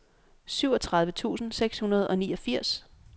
syvogtredive tusind seks hundrede og niogfirs